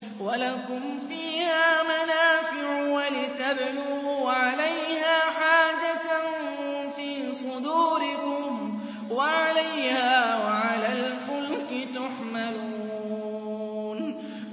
وَلَكُمْ فِيهَا مَنَافِعُ وَلِتَبْلُغُوا عَلَيْهَا حَاجَةً فِي صُدُورِكُمْ وَعَلَيْهَا وَعَلَى الْفُلْكِ تُحْمَلُونَ